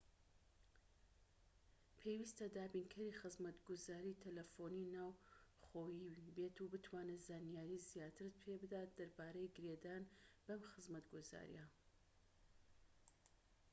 پێویستە دابینکەری خزمەتگوزاری تەلەفۆنی ناوخۆییت بتوانێت زانیاری زیاترت پێبدات دەربارەی گرێدان بەم خزمەتگوزاریە